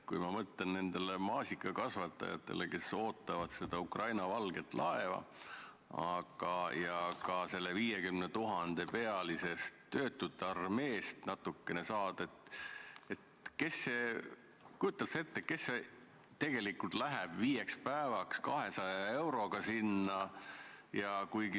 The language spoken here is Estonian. Kui ma mõtlen nendele maasikakasvatajatele, kes ootavad seda Ukraina valget laeva, siis isegi kui sellest 50 000-pealisest töötute armeest nad natukene abi saavad, siis kas sa kujutad ette, kes tegelikult läheks viieks päevaks 200 euro eest sinna põllule?